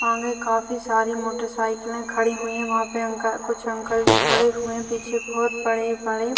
आगे काफी सारी मोटरसाइकिलें खड़ी हुई है वहाँ पे अंकल कुछ अंकल जी खड़े हुए है पीछे बोहोत बड़े- बड़े --